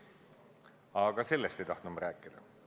Aga mitte sellest ei tahtnud ma rääkida.